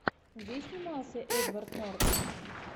где снимался эдвард нортон